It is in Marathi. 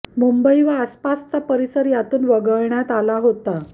मुंबई व आसपासचा परिसर त्यातून वगळण्यात आला होता